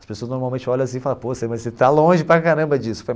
As pessoas normalmente olham assim e falam, pô, você você tá longe para caramba disso.